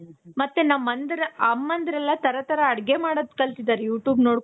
ಮತ್ತೆ ನಮ್ಮ ಅಮ್ಮನ್ದ್ರೆಲ್ಲ ತರ ತರ ಅಡುಗೆ ಮಾಡೋದ್ ಕಲ್ತಿದಾರೆ you tube ನೋಡ್ಕೊಂಡು.